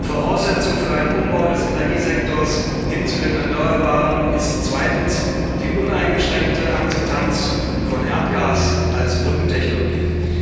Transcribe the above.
Voraussetzung für einen Umbau des Energiesektors hin zu den Erneuerbaren ist zweitens die uneingeschränkte Akzeptanz von Erdgas als Brückentechnologie.